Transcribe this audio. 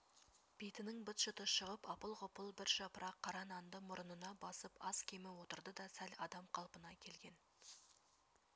бетінің быт-шыты шығып апыл-ғұпыл бір жапырақ қара нанды мұрынына басып аз-кемі отырды да сәл адам қалпына келген